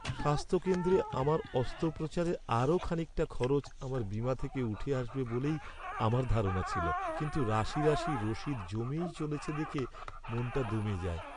স্বাস্থ্যকেন্দ্রে আমার অস্ত্রোপচারের আরও খানিকটা খরচ আমার বীমা থেকে উঠে আসবে বলেই আমার ধারণা ছিল। কিন্তু রাশি রাশি রসিদ জমেই চলেছে দেখে মনটা দমে যায়।